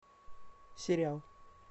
сериал